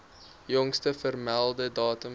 jongste vermelde datum